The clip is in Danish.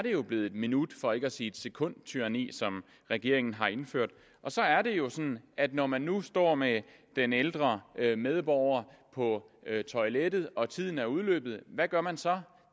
blevet et minut for ikke at sige et sekundtyranni som regeringen har indført så er det jo sådan at når man nu står med den ældre medborger på toilettet og tiden er udløbet hvad gør man så